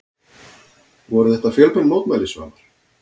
Voru þetta fjölmenn mótmæli Svavar?